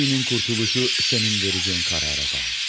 Abinin qurtuluşu sənin verəcəyin qərara bağlıdır.